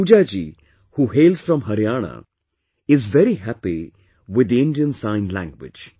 Pooja ji, who hails from Haryana, is very happy with the Indian Sign Language